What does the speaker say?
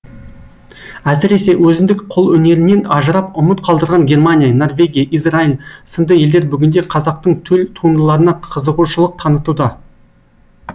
әсіресе өзіндік қолөнерінен ажырап ұмыт қалдырған германия норвегия израил сынды елдер бүгінде қазақтың төл туындыларына қызығушылық танытуда